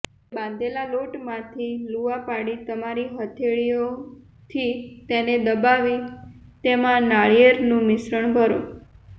હવે બાંધેલા લોટમાંથી લુઆ પાડી તમારી હથેળીઓથી તેને દબાવી તેમાં નારિયેળનું મિશ્રણ ભરો